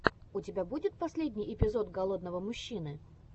у тебя будет последний эпизод голодного мужчины